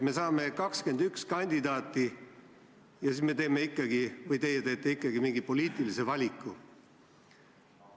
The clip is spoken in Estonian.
Me saame 21 kandidaati ja siis me teeme – või teie teete – ikkagi mingi poliitilise valiku.